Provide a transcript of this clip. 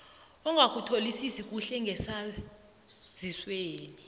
ongakutholisisi kuhle ngesaziswesi